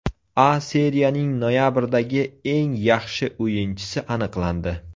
A Seriyaning noyabrdagi eng yaxshi o‘yinchisi aniqlandi.